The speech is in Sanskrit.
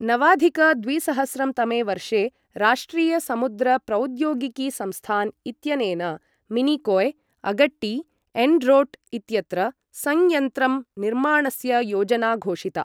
नवाधिक द्विसहस्रं तमे वर्षे राष्ट्रीय समुद्र प्रौद्योगिकी संस्थान् इत्यनेन मिनिकोय्, अगट्टी, एण्ड्रोट् इत्यत्र संयन्त्रं निर्माणस्य योजना घोषिता।